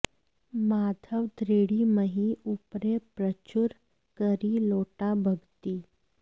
माधव दृढ़ि महि ऊपरै प्रचुर करी लोटा भगति